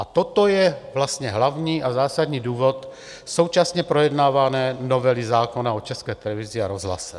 A toto je vlastně hlavní a zásadní důvod současně projednávané novely zákona o České televizi a rozhlase.